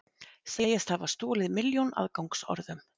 Segjast hafa stolið milljón aðgangsorðum